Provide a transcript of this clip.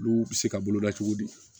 Olu bɛ se ka boloda cogo di